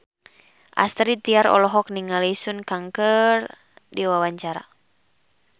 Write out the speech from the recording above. Astrid Tiar olohok ningali Sun Kang keur diwawancara